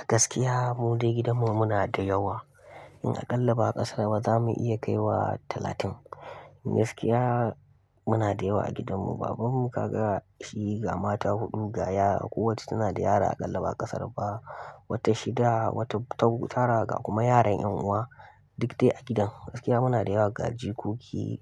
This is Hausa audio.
A gaskiya mu dai gidanmu muna da yawa. In a ƙallaba a ƙasar ba za mu iya kai wa talatin. A gaskiya muna da yawa a gidanmu. Babanmu kaga shi ga mata huɗu ga yara. Kowacce tana da yara a ƙallaba ƙasar ba. Wata shida, wata tau tara ga kuma yaran 'yan'uwa. Duk dai a gidan. Gaskiya muna da yawa ga jikoki.